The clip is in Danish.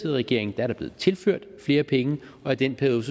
i regering er der blevet tilført flere penge og i den periode